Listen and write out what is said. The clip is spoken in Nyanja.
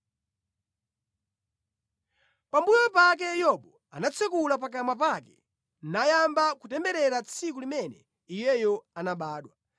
Pambuyo pake Yobu anatsekula pakamwa pake nayamba kutemberera tsiku limene iyeyo anabadwa.